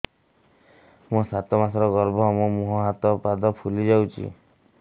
ମୋ ସାତ ମାସର ଗର୍ଭ ମୋ ମୁହଁ ହାତ ପାଦ ଫୁଲି ଯାଉଛି